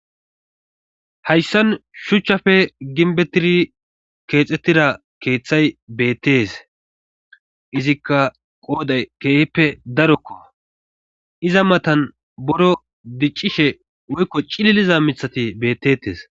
hayssan shuchchafe ginbettiri keexxettira keeththay beettes izikka qooday keehippe darokko iza matan boro diccishe woykko cililiza mithati bettetes